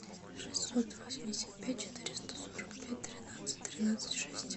шестьсот восемьдесят пять четыреста сорок пять тринадцать тринадцать шесть